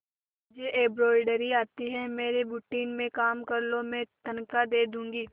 तुझे एंब्रॉयडरी आती है मेरे बुटीक में काम कर लो मैं तनख्वाह दे दूंगी